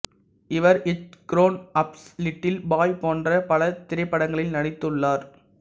இவர் Hitch grown ups little boy போன்ற பல திரைப்படங்களில் நடித்துள்ளார்